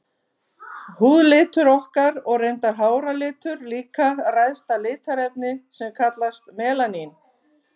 Húðlitur okkar, og reyndar háralitur líka, ræðst af litarefni sem kallast melanín.